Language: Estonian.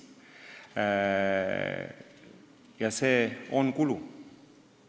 Aga see nõuab kulusid.